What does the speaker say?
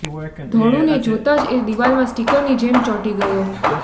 ધોળુને જોતાં જ એ દીવાલમાં સ્ટીકરની જેમ ચોંટી ગયો